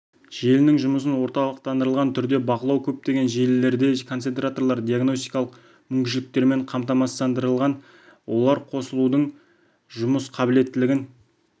желінің жұмысын орталықтандырылған түрде бақылау көптеген желілерде концентраторлар диагностикалық мүмкіншіліктермен қамтамасыздандырылған олар қосылудың жұмыс қабілеттілігін